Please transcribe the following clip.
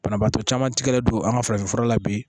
Banabaatɔ caman tigɛlen don an ka farafinfura la bi